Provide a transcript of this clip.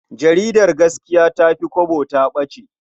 Jaridar Gaskiya ta fi Kwabo ta ɓace.